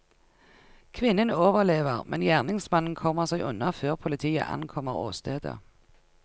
Kvinnen overlever, men gjerningsmannen kommer seg unna før politiet ankommer åstedet.